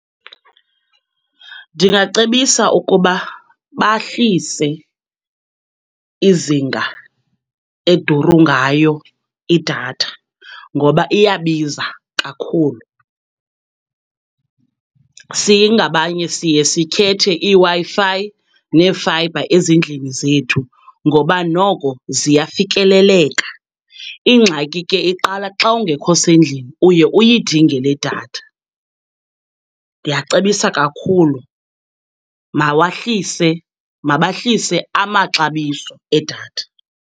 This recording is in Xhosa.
Ndingacebisa ukuba bahlise izinga eduru ngayo idatha, ngoba iyabiza kakhulu. Singabanye siye sikhethe iiWi-Fi neefayibha ezindlini zethu, ngoba noko ziyafikeleleka. Ingxaki ke iqala xa ungekho sendlini uye uyidinge ledatha. Ndiyacebisa kakhulu mawahlise, mabahlise amaxabiso edatha.